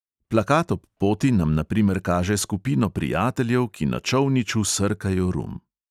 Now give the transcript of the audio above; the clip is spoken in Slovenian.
Plakat ob poti nam na primer kaže skupino prijateljev, ki na čolniču srkajo rum.